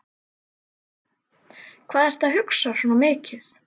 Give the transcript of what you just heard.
Hvað ertu að hugsa svona mikið?